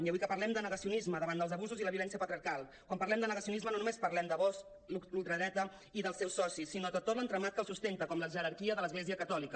i avui que parlem de negacionisme davant dels abusos i la violència patriarcal quan parlem de negacionisme no només parlem de vox la ultradreta i dels seus socis sinó de tot l’entramat que els sustenta com la jerarquia de l’església catòlica